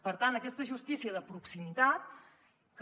per tant aquesta justícia de proximitat que